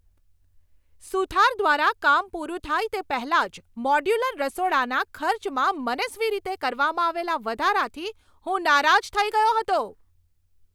સુથાર દ્વારા કામ પૂરું થાય તે પહેલાં જ મોડ્યુલર રસોડાના ખર્ચમાં મનસ્વી રીતે કરવામાં આવેલા વધારાથી હું નારાજ થઈ ગયો હતો.